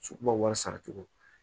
So ma wari sara cogo di